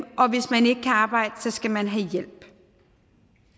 hvis man ikke kan arbejde skal man have hjælp